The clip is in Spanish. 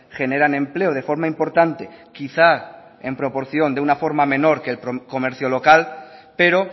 generan empleo de forma importante quizá en proporción de una forma menor que el comercio local pero